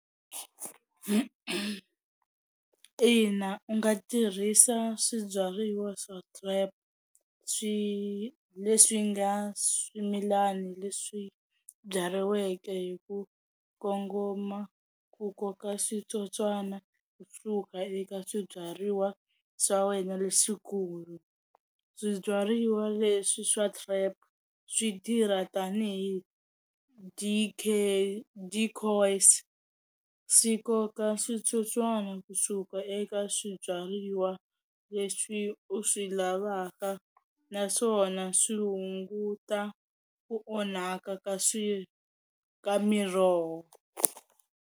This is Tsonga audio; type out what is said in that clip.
Ina u nga tirhisa swibyariwa swa swi leswi nga swimilani leswi byariweke hi ku kongoma ku koka switsotswana swi suka eka swibyariwa swa wena leswikulu, swibyariwa leswi swa trap swi tirha tanihi D_K swi koka switsotswana kusuka eka swibyariwa leswi u swi lavaka naswona swi hunguta ku onhaka ka swi ka miroho.